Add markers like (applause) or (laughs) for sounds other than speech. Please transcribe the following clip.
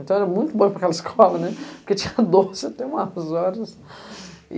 Então, era muito bom para aquela escola, n[e, porque tinha doce até umas horas. E (laughs)